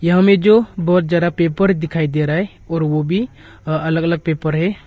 यहां में जो बहुत ज्यादा पेपर दिखाई दे रहा है और वो भी अ अलग अलग पेपर है।